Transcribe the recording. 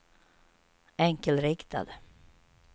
enkelriktad